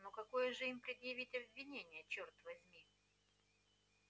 но какое же им предъявить обвинение чёрт возьми